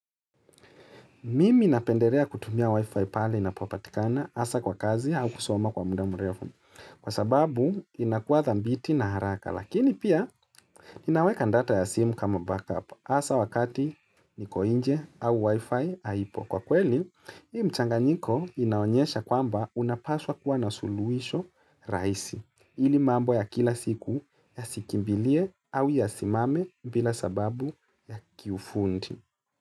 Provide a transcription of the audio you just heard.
Mimi napendelea kutumia wi-fi pale inapopatikana hasa kwa kazi au kusoma kwa muda mrefu. Kwa sababu, inakuwa dhambiti na haraka. Lakini pia, inaweka ndata ya simu kama backup hasa wakati niko inje au wi-fi haipo. Kwa kweli, hii mchanganyiko inaonyesha kwamba unapaswa kuwa na suluhisho rahisi. Ili mambo ya kila siku yasikimbilie au yasimame bila sababu ya kiufundi.